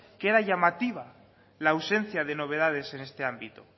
que era llamativa la ausencia de novedades en este ámbito